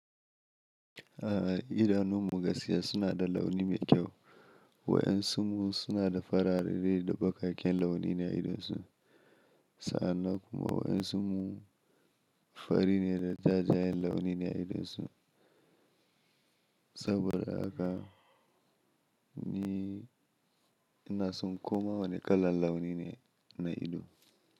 A'a idanun mu gaskiya suna da launi mai kyau. Wa'yan su mu suna da farare da bakaken launi na idonsu. Sannan kuma wa'iyan su mu fari ne da jajayen launi ne a idonsu. Saboda haka ni ina son koma wane kalan launi ne na ido.